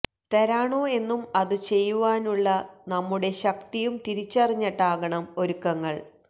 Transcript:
തരാണോ എന്നും അതു ചെയ്യുവാനുള്ള നമ്മുടെ ശക്തിയും തിരിച്ചറിഞ്ഞിട്ടാകണം ഒരുക്കങ്ങള്